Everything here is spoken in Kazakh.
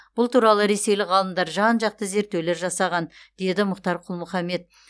бұл туралы ресейлік ғалымдар жан жақты зерттеулер жасаған деді мұхтар құл мұхаммед